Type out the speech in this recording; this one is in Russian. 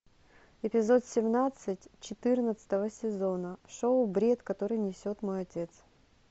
эпизод семнадцать четырнадцатого сезона шоу бред который несет мой отец